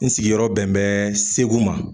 N sigiyɔrɔ bɛn bɛ segu ma